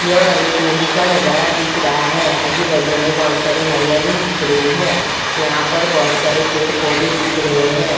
यह एक नदी का नजारा दिख रहा है आजूबाजू में बहुत सारी हरियाली दिख रही है यहां पर बहुत सारे पेड़-पौधे दिख रहे हैं ।